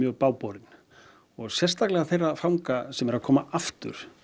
bágborin og sérstaklega þeirra fanga sem eru að koma aftur